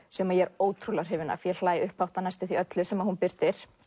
sem ég er ótrúlega hrifin af ég hlæ upphátt af næstum öllu sem hún birtir